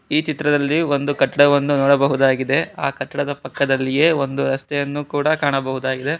ಈ ಚಿತ್ರದಲ್ಲಿ ಒಂದು ಕಟ್ಟಡವನ್ನು ನೋಡಬಹುದಾಗಿದೆ ಆ ಕಟ್ಟಡದ ಪಕ್ಕದಲ್ಲಿಯೇ ಒಂದು ರಸ್ತೆಯನ್ನು ಕೂಡ ಕಾಣಬಹುದಾಗಿದೆ.